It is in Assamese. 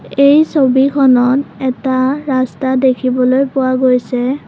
এই ছবিখনত এটা ৰাস্তা দেখিবলৈ পোৱা গৈছে।